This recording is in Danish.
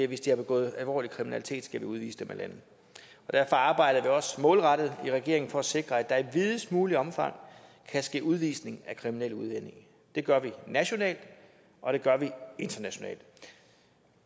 hvis de har begået alvorlig kriminalitet skal vi udvise dem af landet derfor arbejder vi også målrettet i regeringen for at sikre at der i videst muligt omfang kan ske udvisning af kriminelle udlændinge det gør vi nationalt og det gør vi internationalt